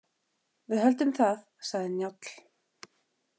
Við höldum það, sagði Njáll.